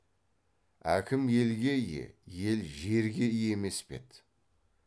әкім елге ие ел жерге ие емес пе еді